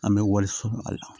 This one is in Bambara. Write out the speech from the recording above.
An bɛ waliso sɔrɔ a la